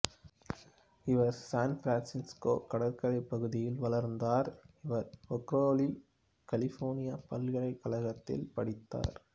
இவர் சான்பிரான்சுக்கோ கடற்கரைப் பகுதியில் வளர்ந்தார் இவர் பெர்க்கேலி கலிபோர்னியா பல்கலைக்கழகத்தில் படித்தார்